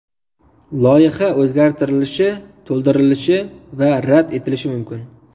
Loyiha o‘zgartirilishi, to‘ldirilishi va rad etilishi mumkin.